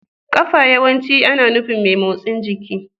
Kafa yawanci ana nufin mai motsin jiki.